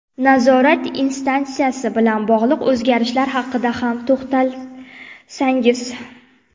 Nazorat instansiyasi bilan bog‘liq o‘zgarishlar haqida ham to‘xtalsangiz.